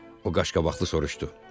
O qaşqabaqlı soruşdu.